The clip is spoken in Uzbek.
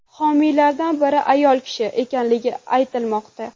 Homiylardan biri ayol kishi ekanligi aytilmoqda.